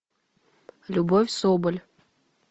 любовь соболь